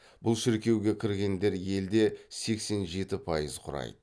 бұл шіркеуге кіргендер елде сексен жеті пайыз құрайды